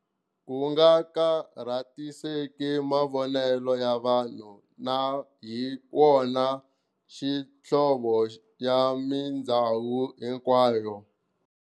Kunga khatariseki mavonele ya vanhu, na hi wona xihlovo ya mindzawulo hinkwayo.